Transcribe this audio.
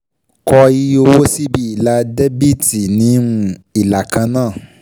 Kọ iye owó síbi ilà dẹ́bíítì ní um ìlà kan náà.